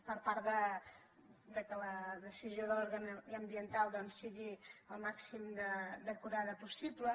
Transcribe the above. per part que la decisió d’òrgan ambiental doncs sigui com més acurada possible